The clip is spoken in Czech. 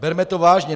Berme to vážně.